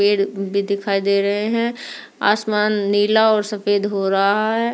पेड़ भी दिखाई दे रहे है आसमान नीला और सफ़ेद हो रहा है।